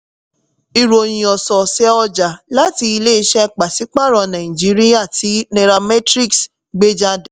ìròyìn ọ̀sọ̀ọ̀sẹ̀ ọjà láti ilé iṣẹ́ pàsí-pààrọ̀ naijiria tí nairametrics gbé jáde.